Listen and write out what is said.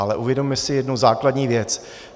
Ale uvědomme si jednu základní věc.